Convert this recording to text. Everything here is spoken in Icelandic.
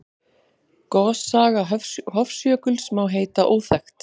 Gossaga Hofsjökuls má heita óþekkt.